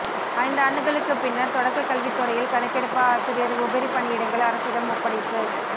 ஐந்தாண்டுகளுக்கு பின்னர் தொடக்க கல்வித்துறையில் கணக்கெடுப்பு ஆசிரியர் உபரி பணியிடங்கள் அரசிடம் ஒப்படைப்பு